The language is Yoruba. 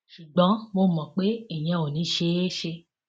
ṣùgbọn mo mọ pé ìyẹn ò ní í ṣeé ṣe